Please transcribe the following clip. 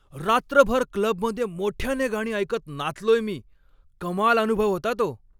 रात्रभर क्लबमध्ये मोठ्याने गाणी ऐकत नाचलोय मी. कमाल अनुभव होता तो.